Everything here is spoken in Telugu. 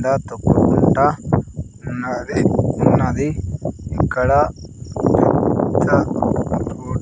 ఇలా తొక్కుకుంటా ఉన్నది ఉన్నది ఇక్కడ పెద్ద గు --